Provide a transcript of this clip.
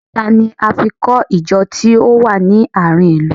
Òkúta ni a fi kọ Ìjọ tí ó wà ní àárín ilu